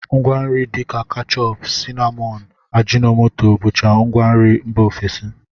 Ngwanri dịka kechọp, sinamọn, ajịnọmoto bụcha ngwanri mba ofesi